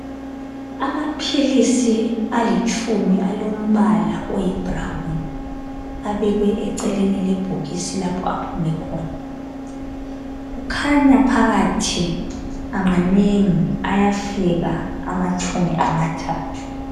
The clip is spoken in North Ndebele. Amaphilisi alitshumi alombala oyibhurawun abekwe eceleni lebhokisi lapho aphume khona. Kukhanya phakathi manengi ayafika anatshumi amathathu.